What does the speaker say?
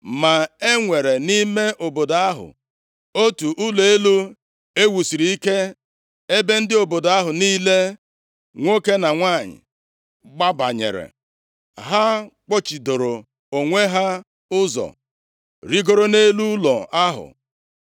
Ma e nwere nʼime obodo ahụ, otu ụlọ elu e wusiri ike, ebe ndị obodo ahụ niile, nwoke na nwanyị, gbabanyere. Ha kpọchidoro onwe ha ụzọ, rigoro nʼelu ụlọ ahụ.